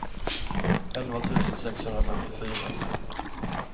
elva tusen sexhundrafemtiofyra